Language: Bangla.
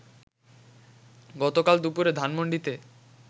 গতকাল দুপুরে ধানমন্ডিতে